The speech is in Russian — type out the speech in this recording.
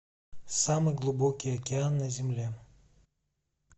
самый глубокий океан на земле